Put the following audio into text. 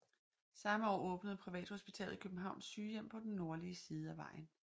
Samme år åbnede privathospitalet Københavns Sygehjem på den nordlige side af vejen